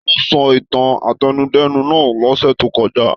Taló sọ ìtàn átẹnudẹ́nu náà lọ́sẹ̀ tó kọjá?